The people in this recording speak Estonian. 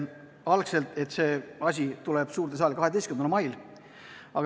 Algselt otsustati, et see asi tuleb suurde saali 12. mail.